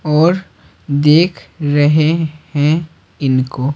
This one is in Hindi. और देख रहे हैं इनको--